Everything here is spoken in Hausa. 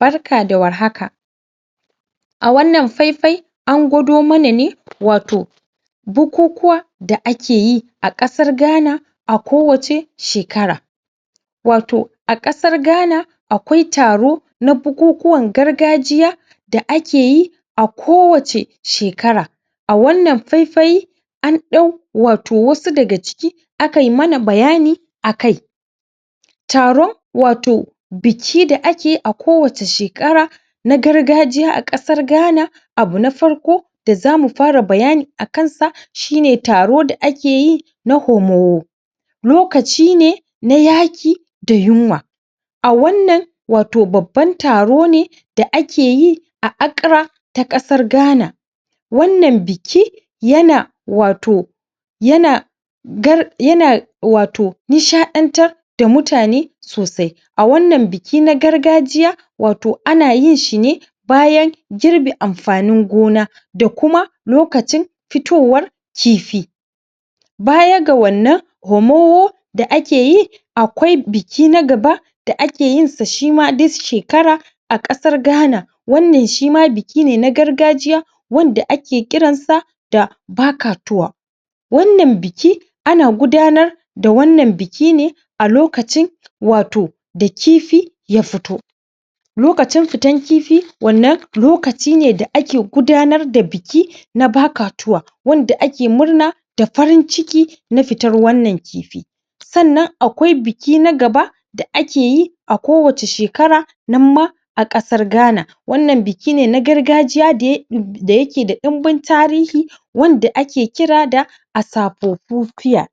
Barka da warhaka a wannan faifai an gwado mana ne wato bukukuwa da ake yi a ƙasar Ghana a kowacce shekara wato a ƙasar Ghana akwai taro na bukukuwan gargajiya da ake yi a kowacce shekara a wannan faifai an ɗau wato wasu daga ciki akai mana bayani akai taron wato biki da ake yi a kowacce shekara na gargajiya a ƙasar Ghana abu na farko da zamu fara bayani akan sa shine taro da ake yin sa na Homo lokaci ne na yaƙi da yinwa a wannan wato babban taro ne da ake yi a Accra ta ƙasar Ghana wannan biki yana wato yana gar yana wato nishaɗar da mutane sosai a wannan biki na gargajiya wato ana yin shi ne bayan girbe amfanin gona da kuma lokacin fitowar kifi baya ga wanan Homo da ake yi akwai biki na gaba da ake yinsa shima duk shekara a ƙasar Ghana wannan shima biki ne na gargajiya wanda ake kiransa da Bakatuwa wannan biki ana gudanar da wannan biki ne a lokacin wato da kifi a fito lokacin fitar kifi wannan lokaci ne ake gudanar da biki na Bakatuwa yadda ake murna da farin ciki na fitar wannan kifi sannan akwai biki na gaba da ake yi a kowacce shekara nan ma a ƙasar Ghana wannan biki ne na gargajiya da yake um da yake da ɗinmin tarihi wanda ake kira da Asafofofiya